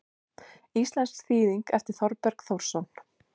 Íslensk þýðing eftir Þorberg Þórsson.